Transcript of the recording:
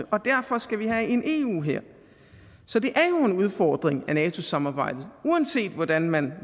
og derfor skal vi have en eu hær så det er jo en udfordring af nato samarbejdet uanset hvordan man